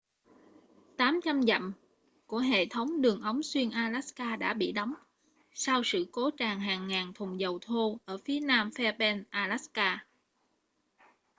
800 dặm của hệ thống đường ống xuyên alaska đã bị đóng sau sự cố tràn hàng ngàn thùng dầu thô ở phía nam fairbanks alaska